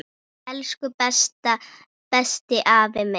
Elsku besti afi minn.